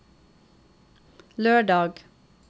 lørdag